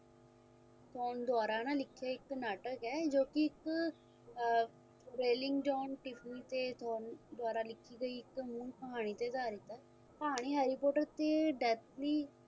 pond ਦੁਆਰਾ ਨਾ ਲਿਖੀ ਇੱਕ ਨਾਟਕ ਹੈ ਜੋ ਕਿ ਇੱਕ ਆਹ Rowling John Seasoning ਤੇ pond ਦੁਆਰਾ ਲਿਖ਼ੀ ਗਈ ਇਕ ਮੂਲ ਕਹਾਣੀ ਤੇ ਅਧਾਰਿਤ ਹੈ ਕਹਾਣੀ harry poter ਤੇ tiffany